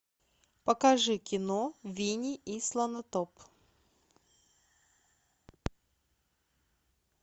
покажи кино винни и слонотоп